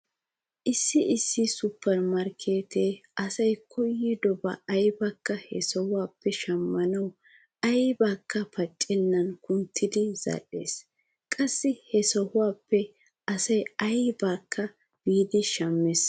Issi issi supper markkeetee asay koyyidoba aybakka he sohuwappe shammanawu aybaakka pacissennan kunttidi zal"ees. Qassi he sooppe asay aybakka biidi shammees.